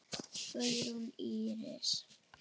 Guðrún Íris.